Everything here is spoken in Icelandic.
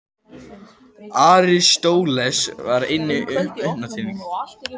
Aristóteles var engin undantekning.